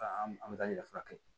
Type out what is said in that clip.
A an bɛ taa ɲɛfɛ